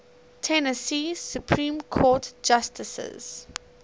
tennessee supreme court justices